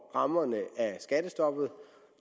rammerne af skattestoppet